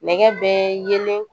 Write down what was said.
Nɛgɛ bɛ yeelen